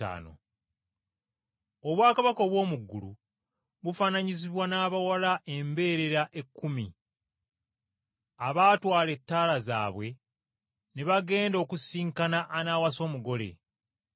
“Obwakabaka obw’omu ggulu bufaananyizibwa n’abawala embeerera ekkumi, abaatwala ettaala zaabwe ne bagenda okusisinkana anaawasa omugole.